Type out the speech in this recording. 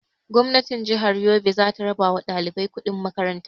Gwamnatin jihar Yobe zata raba wa ɗalibai kuɗin makaran ta